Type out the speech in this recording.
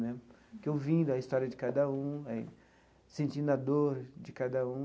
Né porque ouvindo a história de cada um, sentindo a dor de cada um,